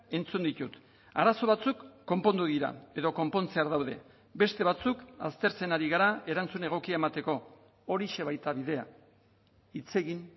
entzun ditut arazo batzuk konpondu dira edo konpontzear daude beste batzuk aztertzen ari gara erantzun egokia emateko horixe baita bidea hitz egin